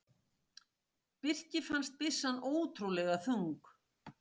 Birki fannst byssan ótrúlega þung.